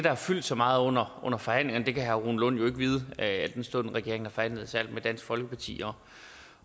har fyldt så meget under forhandlingerne det kan herre rune lund jo ikke vide al den stund regeringen har forhandlet særlig med dansk folkeparti